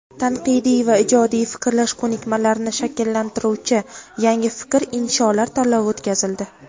tanqidiy va ijodiy fikrlash ko‘nikmalarini shakllantiruvchi "Yangi fikr" insholar tanlovi o‘tkazildi.